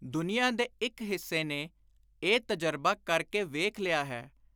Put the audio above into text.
ਦੁਨੀਆਂ ਦੇ ਇਕ ਹਿੱਸੇ ਨੇ ਇਹ ਤਜਰਬਾ ਕਰ ਕੇ ਵੇਖ ਲਿਆ ਹੈ।